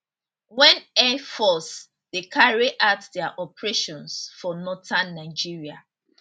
wen air force dey carry out dia operations for northern nigeria